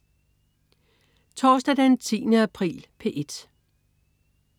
Torsdag den 10. april - P1: